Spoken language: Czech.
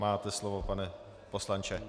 Máte slovo, pane poslanče.